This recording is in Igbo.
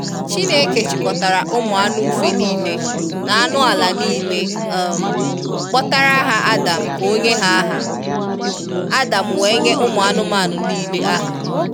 Chineke chịkọtara ụmụ anụ ufe nile na anụ ala nile um kpọtara ha Adam ka onye ha aha, Adam wee nyee ụmụ anụmanụ nile aha.